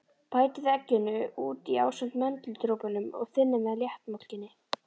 Bætið egginu út í ásamt möndludropunum og þynnið með léttmjólkinni.